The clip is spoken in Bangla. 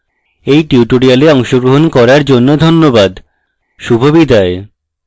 এই tutorial অংশগ্রহণ করার জন্য ধন্যবাদ শুভবিদায়